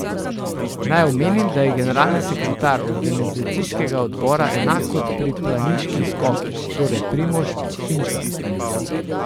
Naj omenim, da je generalni sekretar organizacijskega odbora enak kot pri planiških skokih, torej Primož Finžgar.